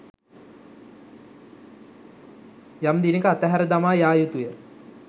යම් දිනක අතහැර දමා යා යුතුය.